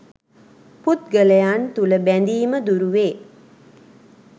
පුද්ගලයන් තුළ බැඳීම දුරුවේ.